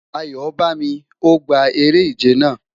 Ayobami, O gba ere-ije naa